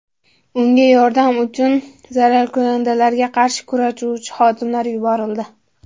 Unga yordam uchun zararkunandalarga qarshi kurashuvchi xodimlar yuborildi.